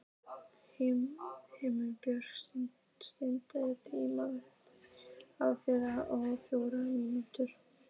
Himinbjörg, stilltu tímamælinn á þrjátíu og fjórar mínútur.